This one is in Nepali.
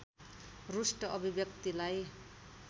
रुष्ट अभिव्यक्तिलाई